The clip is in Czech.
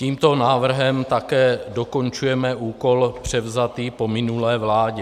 Tímto návrhem také dokončujeme úkol převzatý po minulé vládě.